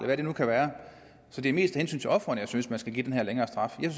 hvad det nu kan være så det er mest af hensyn til ofrene jeg synes man skal give den her længere straf jeg